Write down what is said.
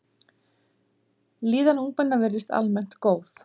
Líðan ungmenna virðist almennt góð.